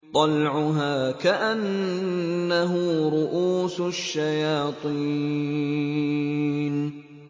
طَلْعُهَا كَأَنَّهُ رُءُوسُ الشَّيَاطِينِ